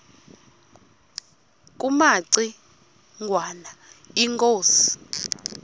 kumaci ngwana inkosi